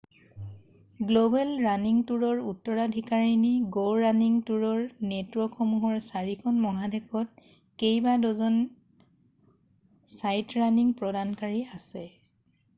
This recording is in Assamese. গ্ল'বেল ৰাণিং টুৰৰ উত্তৰাধিকাৰী গ' ৰাণিং টুৰৰ নেটৱৰ্কসমূহৰ চাৰিখন মহাদেশত কেইবাড'জন চাইটৰাণিং প্ৰদানকাৰী আছে